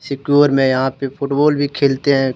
यहां पे फुटबॉल भी खेलते हैं।